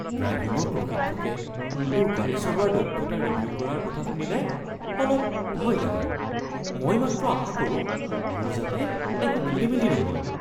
ড্ৰাইভিঙৰ প্ৰশিক্ষকে মোৰ গাড়ী চলোৱাৰ দক্ষতা ৰিভিউ কৰাৰ কথা শুনিলে অলপ ভয় লাগে। মই মাত্ৰ আশা কৰোঁ মোৰ যাতে একো খেলিমেলি নহয়।